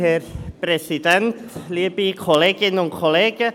Kommissionssprecher der JuKo.